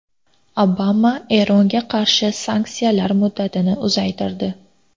Obama Eronga qarshi sanksiyalar muddatini uzaytirdi.